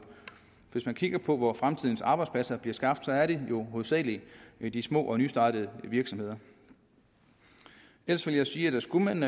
hvis man kigger på hvor fremtidens arbejdspladser bliver skabt så er det jo hovedsagelig i de små og nystartede virksomheder ellers vil jeg sige at skulle man